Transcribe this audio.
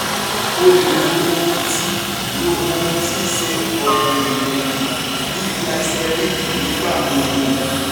o le lo ohun ti lo ohun ti n ṣe ọrinrinrin bi glycerin nigba gbogbo